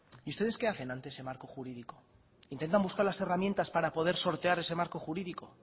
y ustedes qué hacen ante ese marco jurídico intentan buscar las herramientas para poder sortear ese marco jurídico